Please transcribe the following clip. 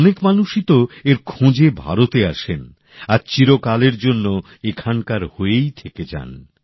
অনেক মানুষই তো এর খোঁজে ভারতে আসেন আর চিরকালের জন্য এখানকার হয়েই থেকে যান